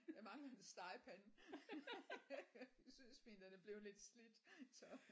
Jeg mangler en stegepande jeg synes min den er blevet lidt slidt så